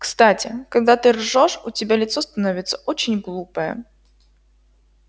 кстати когда ты ржёшь у тебя лицо становится очень глупое